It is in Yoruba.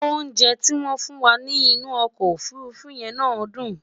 oúnjẹ ti wón fún wà nì inú ọkọ òfurufú yé ná dùn